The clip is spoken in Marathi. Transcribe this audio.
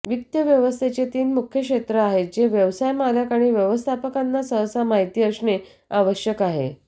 वित्तव्यवस्थेचे तीन मुख्य क्षेत्र आहेत जे व्यवसाय मालक आणि व्यवस्थापकांना सहसा माहिती असणे आवश्यक आहे